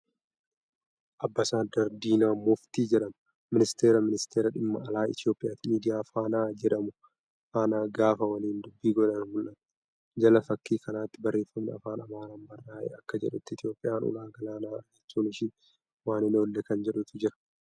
Ambasaaddar Diinaa Muftii jedhama. Ministiira ministeera dhimma alaa Itoophiyaati. Miidiyaa Faanaa jedhamu faana gaafa waliin dubbii godhan mul'atu. Jala fakkii kanaatti barreeffami Afaan Amaaraan barraa'e akka jedhutti Itoophiyaan ulaa galaanaa argachuun ishee waan hin oolle kan jedhutu jira.